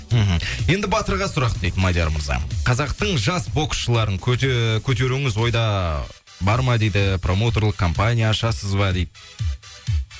мхм енді батырға сұрақ дейді мадияр мырза қазақтың жас боксшыларын көтеруіңіз ойда бар ма дейді промоутерлік компания ашасыз ба дейді